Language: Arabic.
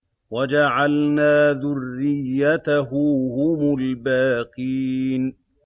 وَجَعَلْنَا ذُرِّيَّتَهُ هُمُ الْبَاقِينَ